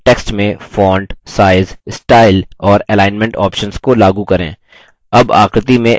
text में font size style और alignment options को लागू करें